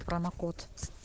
промокод